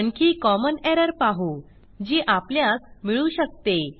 आणखी common error पाहू जी आपल्यास मिळू शकते